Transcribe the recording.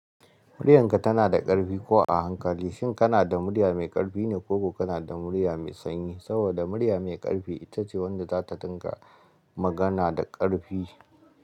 Muryarka tana da ƙarfi ko a hankali, shin kana da murya mai ƙarfi ne ko ko kana da murya mai sanyi? Saboda murya mai ƙarfi ita ce wadda za ta dinga magana da ƙarfi.